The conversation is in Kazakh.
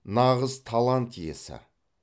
нағыз талант иесі